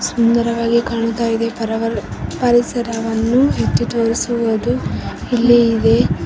ಸುಂದರವಾಗಿ ಕಾಣುತ್ತ ಇದೆ ಪರವರ್ ಪರಿಸರವನ್ನು ಎತ್ತಿ ತೋರಿಸುವುದು ಇಲ್ಲಿ ಇದೆ.